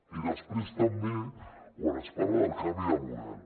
i després també quan es parla del canvi de model